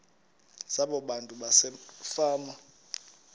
zabo abantu basefama